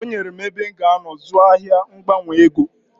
O nyere m ebe m g'anọ zụọ ahia mgbanwe ego.